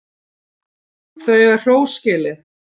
Þeir eiga hrós skilið.